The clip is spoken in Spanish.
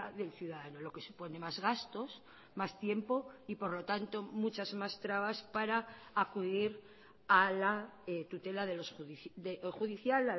del ciudadano lo que supone más gastos más tiempo y por lo tanto muchas más trabas para acudir a la tutela judicial